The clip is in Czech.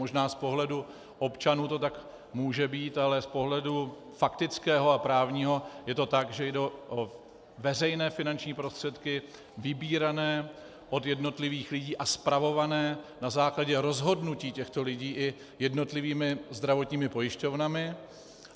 Možná z pohledu občanů to tak může být, ale z pohledu faktického a právního je to tak, že jde o veřejné finanční prostředky vybírané od jednotlivých lidí a spravované na základě rozhodnutí těchto lidí i jednotlivými zdravotními pojišťovnami.